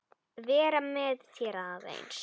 Vera með þér aðeins.